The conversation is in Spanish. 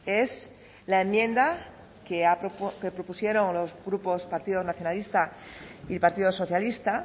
es la enmienda que propusieron los grupos partido nacionalista y partido socialista